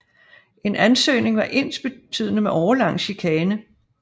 En ansøgning var ensbetydende med årelang chikane